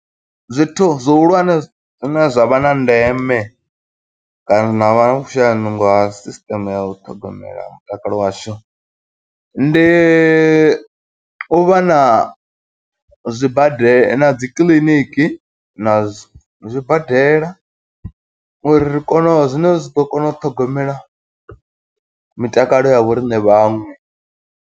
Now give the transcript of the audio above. Zwithu zwi hulwane zwine zwa vha na ndeme kana zwa vha na vhushaya nungo ha sisiṱeme ya u ṱhogomela mutakalo washu. Ndi u vha na zwibadela na dzikiḽiniki, na zwibadela uri ri kone u, zwine zwi ḓo kona u ṱhogomela mitakalo ya vho riṋe vhaṅwe.